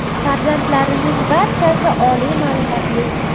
Farzandlarining barchasi oliy ma’lumotli.